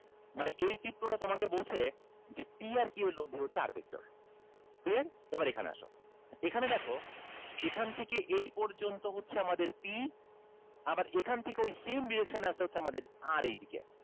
মানে এই চিত্রটা তোমাকে বলছে যে p আর q এর লব্দি হচ্ছে r vector clear এবার এখানে আসো এখানে দেখো এখান থেকে এই পর্যন্ত হচ্ছে আমাদের p আবার এখান থেকে ওই same direction এ আছে হচ্ছে আমাদের r এইদিকে